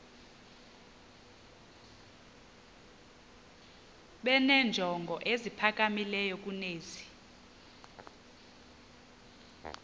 benenjongo eziphakamileyo kunezi